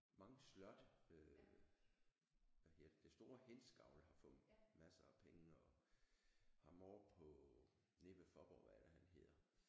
Mange slotte øh hvad hedder det det store Hindsgavl har fået masser af penge og ham ovre på nede ved Faaborg hvad er det han hedder?